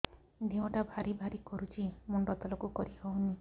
ଦେହଟା ଭାରି ଭାରି କରୁଛି ମୁଣ୍ଡ ତଳକୁ କରି ହେଉନି